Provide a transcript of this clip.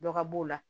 Dɔ ka b'o la